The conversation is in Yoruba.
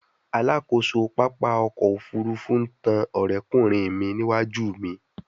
Alakoso papa ọkọ ofurufu n tan ọrẹkunrin mi niwaju mi